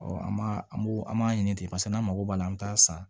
an b'a an b'o an b'a ɲini ten paseke n'an mago b'a la an bɛ taa san